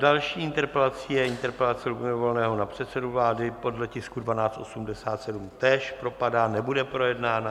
Další interpelací je interpelace Lubomíra Volného na předsedu vlády podle tisku 1287, též propadá, nebude projednána.